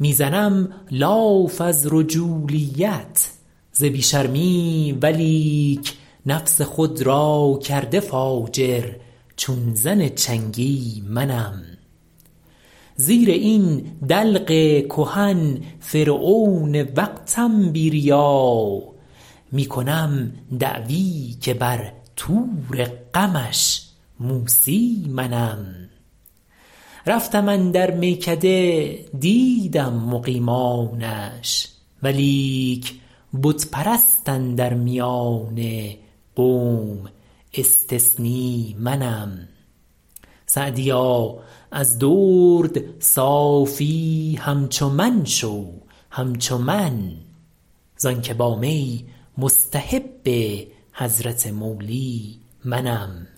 می زنم لاف از رجولیت ز بی شرمی ولیک نفس خود را کرده فاجر چون زن چنگی منم زیر این دلق کهن فرعون وقتم بی ریا می کنم دعوی که بر طور غمش موسی منم رفتم اندر میکده دیدم مقیمانش ولیک بت پرست اندر میان قوم استثنی منم سعدیا از درد صافی همچو من شو همچو من زآن که با می مستحب حضرت مولی منم